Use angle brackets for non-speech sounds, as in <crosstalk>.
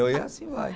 <unintelligible> E assim vai.